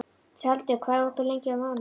Tjaldur, hvað er opið lengi á mánudaginn?